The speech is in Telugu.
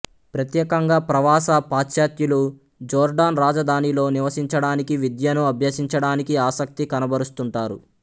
ప్రత్యేకంగా ప్రవాస పాశ్చాత్యులు జోర్డాన్ రాజధానిలో నివసించడానికి విద్యను అభ్యసించడానికి ఆసక్తి కనబరుస్తుంటారు